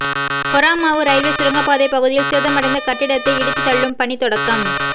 Horamavu railway சுரங்கப்பாதை பகுதியில் சேதமடைந்த கட்டடத்தை இடித்து தள்ளும் பணி தொடக்கம்